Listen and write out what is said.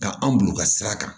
Ka anw bolo u ka sira kan